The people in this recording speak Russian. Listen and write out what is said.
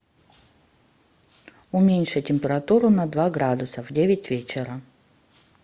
уменьши температуру на два градуса в девять вечера